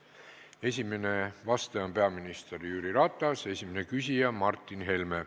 Esimene vastaja on peaminister Jüri Ratas, esimene küsija Martin Helme.